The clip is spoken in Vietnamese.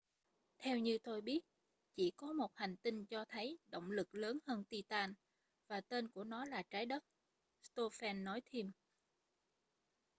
theo như tôi biết chỉ có một hành tinh cho thấy động lực lớn hơn titan và tên của nó là trái đất stofan nói thêm